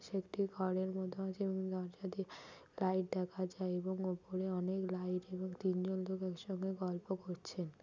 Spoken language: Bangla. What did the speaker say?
সে একটি ঘরের মধ্যে আছে এবং দরজা দিয়ে লাইট দেখা যায় এবং ওপরে অনেক লাইট এবং তিনজন ধরে একসঙ্গে গল্প করছেন।